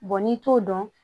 n'i t'o dɔn